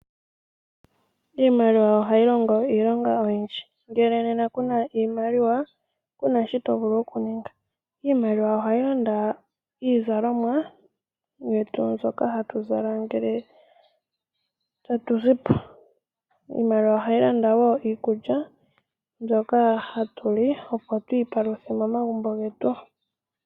Iimaliwanohayi longo iilonga oyindji. Nena ngele kuna iimaliwa, kuna shi tovulu okuninga. Iimaliwa ohayi landa iizalomwa yetu mbyoka hatu zala ngele tatu zi po. Iimaliwa ohayi landa woo iikulya mbyoka hatu li opo twiipaluthe momagumbo getu.